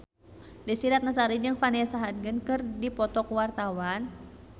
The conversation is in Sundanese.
Desy Ratnasari jeung Vanessa Hudgens keur dipoto ku wartawan